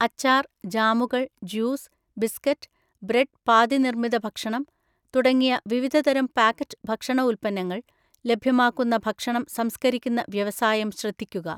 അച്ചാർ, ജാമുകൾ, juice, biscuit, bread പാതിനിർമിത ഭക്ഷണം തുടങ്ങിയ വിവിധതരം പാക്കറ്റ് ഭക്ഷണ ഉൽപന്നങ്ങൾ ലഭ്യമാക്കുന്ന ഭക്ഷണം സംസ്കരിക്കുന്ന വ്യവസായം ശ്രദ്ധിക്കുക.